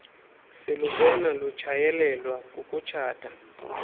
silubona lutshayeleelwa kukutshata